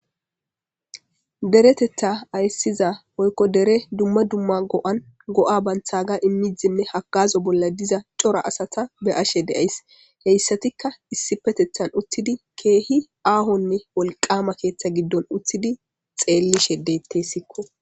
deretetha ayssiza poykko dere dumma dumma go7an go7a banthaga immidzinne hakazo bolla diza cora asata be ashe deays heyssatikka issi petethan uttidi keehi aahonne wolqama keeththa giddon uttidi xeellishe deetteessikko